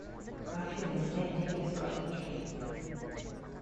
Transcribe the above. афина снять деньги с карточки